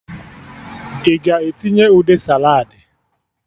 Ị ga-etinye ude saladị?